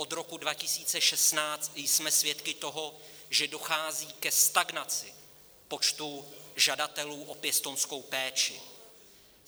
Od roku 2016 jsme svědky toho, že dochází ke stagnaci počtu žadatelů o pěstounskou péči.